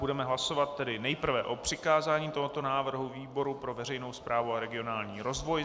Budeme hlasovat tedy nejprve o přikázání tohoto návrhu výboru pro veřejnou správu a regionální rozvoj.